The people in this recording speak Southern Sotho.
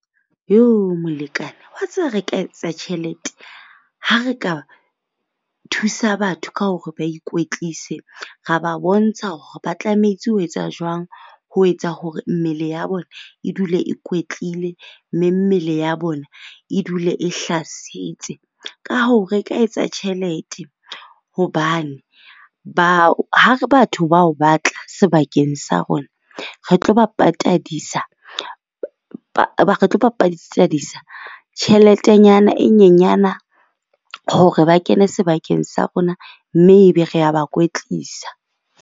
Molekane wa tseba re ka etsa tjhelete ha re ka thusa batho ka hore ba ikwetlise, ra ba bontsha hore ba tlametse ho etsa jwang ho etsa hore mmele ya bona e dule e kwetlile, mme mmele ya bona e dule e hlasitse. Ka hoo, re ka etsa tjhelete hobane ha re batho bao batla sebakeng sa rona re tlo ba patadisa re tlo ba patadisa tjheletenyana e nyenyana hore ba kene sebakeng sa rona. Mme ebe rea ba kwetlisa.